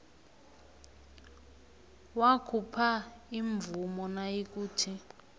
wakhupha imvumo nayikuthi